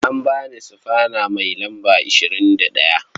An ba ni sufana mai lamba 21.